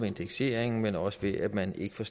indekseringen men også ved at man ikke får